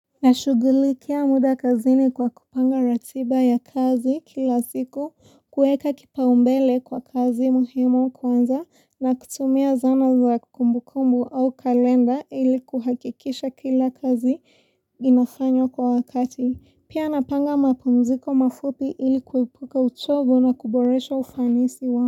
Nashugulikia muda kazini kwa kupanga ratiba ya kazi kila siku, kuweka kipaumbele kwa kazi muhimu kwanza na kutumia zana za kumbukumbu au kalenda ili kuhakikisha kila kazi inafanywa kwa wakati. Pia napanga mapumziko mafupi ili kuepuka uchovu na kuboresha ufanisi wa.